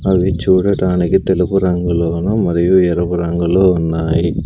అవి చూడటానికి తెలుపు రంగులోను మరియు ఎరుపు రంగులో ఉన్నాయి.